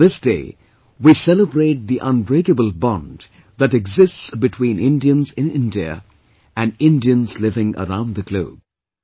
On this day, we celebrate the unbreakable bond that exists between Indians in India and Indians living around the globe